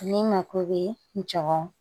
Ne mako be n jogɔ